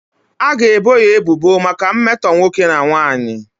A ga-ebo ya ebubo maka mmetọ nwoke na nwanyị.